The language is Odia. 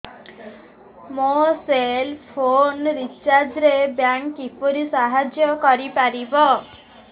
ମୋ ସେଲ୍ ଫୋନ୍ ରିଚାର୍ଜ ରେ ବ୍ୟାଙ୍କ୍ କିପରି ସାହାଯ୍ୟ କରିପାରିବ